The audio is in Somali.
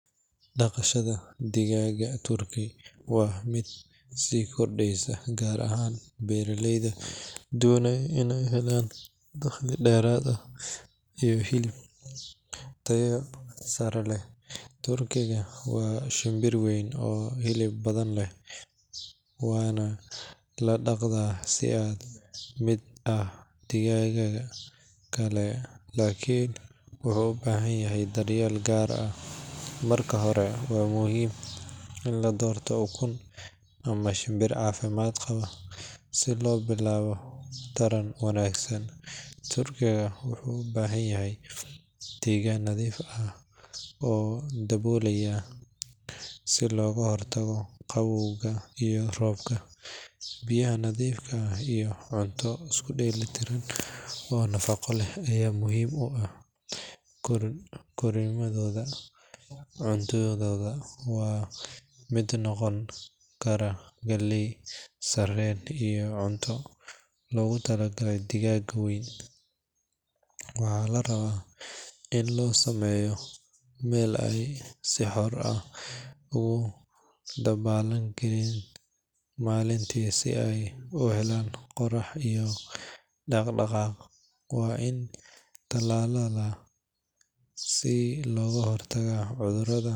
Dhaqashada digaagga turkey waa mid sii kordheysa gaar ahaan beeraleyda doonaya inay helaan dakhli dheeraad ah iyo hilib tayo sare leh. Turkey-ga waa shinbir weyn oo hilib badan leh, waana la dhaqdaa si la mid ah digaagga kale laakiin wuxuu u baahan yahay daryeel gaar ah. Marka hore, waa muhiim in la doorto ukun ama shinbir caafimaad qaba si loo bilaabo taran wanaagsan. Turkey-ga wuxuu u baahan yahay deegaan nadiif ah oo daboolan si looga hortago qaboowga iyo roobka. Biyaha nadiifka ah iyo cunto isku dheelitiran oo nafaqo leh ayaa muhiim u ah korriimadooda. Cuntadooda waxaa ka mid noqon kara galley, sarreen, iyo cunto loogu talagalay digaagga weyn. Waxaa la rabaa in loo sameeyo meel ay si xor ah ugu dabaaldegaan maalintii si ay u helaan qorrax iyo dhaqdhaqaaq. Waa in la tallaalaa si looga hortago cudurrada.